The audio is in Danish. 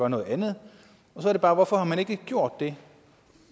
noget andet hvorfor har man ikke gjort det